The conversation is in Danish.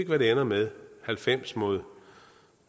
hvad det ender med halvfems mod